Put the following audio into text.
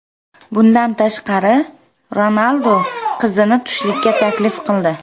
Bundan tashqari, Ronaldu qizni tushlikka taklif qildi.